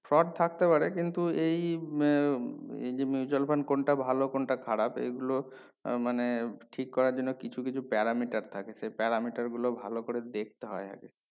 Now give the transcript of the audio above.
fraud থাকতে পারে কিন্তু এই উম যে mutual fund কোনটা ভালো কোনটা খারাপ এই গুলো আহ মানে ঠিক করার জন্য কিছু কিছু parameter থাকে সেই parameter গুলো ভালো করে দেখতে হয় আগে